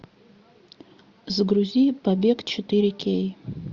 загрузи побег четыре кей